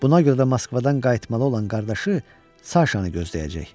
Buna görə də Moskvadan qayıtmalı olan qardaşı Saşanı gözləyəcək.